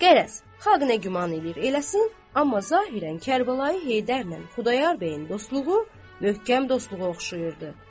Qərəz, xalq nə güman eləyir eləsin, amma zahirən Kərbəlayı Heydərlə Xudayar bəyin dostluğu möhkəm dostluğa oxşayırdı.